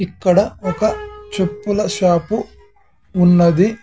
ఇక్కడ ఒక చెప్పుల షాపు ఉన్నది.